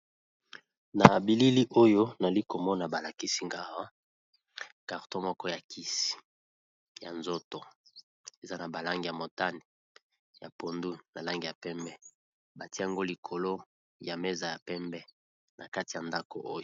Na bilili oyo nali komona balakisi nga karton moko ya kisi ya komela eza na ba langi ya motane , langi ya pondu na langi ya pembe, batie yango likolo ya meza ya pembe na kati ya ndaku oyo.